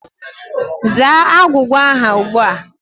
Zaa agwugwa ahụ ugbu a!